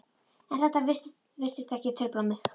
En þetta virtist ekki trufla mig.